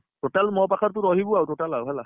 Total ମୋ ପାଖରେ ତୁ ରହିବୁ ଆଉ total ଆଉ ହେଲା